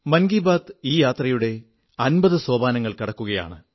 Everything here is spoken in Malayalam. മൻ കീ ബാത് ഈ യാത്രയുടെ അമ്പത് ലക്കങ്ങൾ കടക്കുകയാണ്